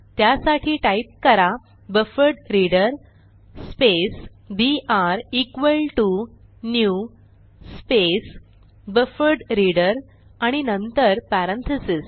त्यासाठी टाईप करा buffered reader space BR equal to new space buffered reader आणि नंतर पॅरेंथीसेस